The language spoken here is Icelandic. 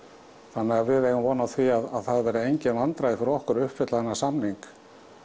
þannig að við eigum von á því að það verði engin vandræði fyrir okkur að uppfylla þennan samning